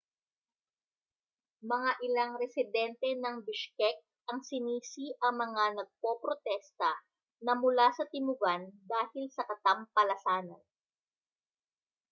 mga ilang residente ng bishkek ang sinisi ang mga nagpoprotesta na mula sa timugan dahil sa katampalasanan